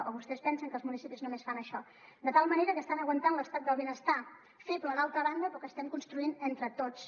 o vostès pensen que els municipis només fan això de tal manera que estan aguantant l’estat del benestar feble d’altra banda però que estem construint entre tots